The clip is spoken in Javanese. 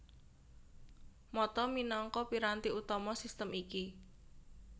Mata minangka piranti utama sistem iki